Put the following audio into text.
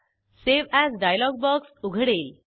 save as dialog box उघडेल